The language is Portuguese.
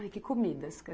Ai, que comidas.